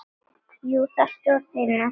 Jú, það stóð heima.